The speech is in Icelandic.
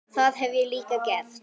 Það hef ég líka gert.